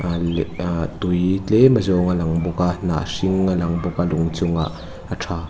a leh ahh tui tlem a zawng a lang bawk a hnah hring a lang bawk a lung chung ah a tha.